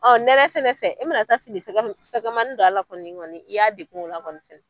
nɛnɛ fɛnɛ fɛ, e mana taa fini fɛgɛmani fɛnɛ don a la kɔni, i y'a degun la kɔni